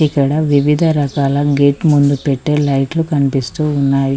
ఇక్కడ వివిధ రకాల గేట్ ముందు పెట్టే లైట్లు కనిపిస్తూ ఉన్నాయి